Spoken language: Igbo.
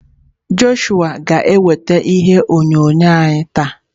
Joshua ga-eweta ihe onyonyo anyị taa.